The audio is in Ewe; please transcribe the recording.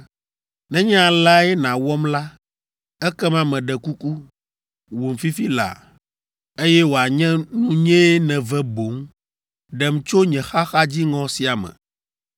Nenye aleae nàwɔm la, ekema meɖe kuku, wum fifi laa, eye wòanye nunyee nève boŋ! Ɖem tso nye xaxa dziŋɔ sia me!”